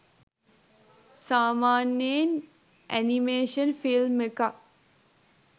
සාමාන්‍යයෙන් animation film එකක්